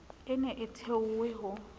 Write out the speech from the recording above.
e ne e thehwe ho